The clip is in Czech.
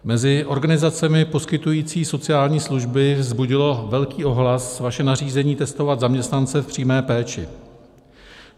Mezi organizacemi poskytující sociální služby vzbudilo velký ohlas vaše nařízení testovat zaměstnance v přímé péči.